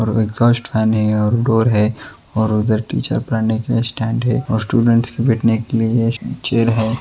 और exhaust fan है और डोर है और उधर टीचर पढ़ाने के लिए स्टैण्ड है और स्टुडेंट्स के बैठने के लिए ये चेयर है।